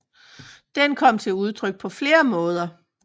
Den kom til udtryk på flere måder